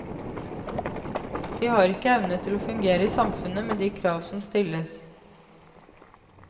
De har ikke evne til å fungere i samfunnet med de krav som stilles.